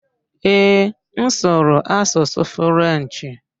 Ee, m asụru asụsụ Frenchị.